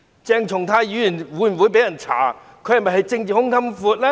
鄭松泰議員會否願意被人調查？